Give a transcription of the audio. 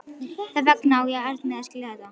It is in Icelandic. Þess vegna á ég erfitt með að skilja þetta.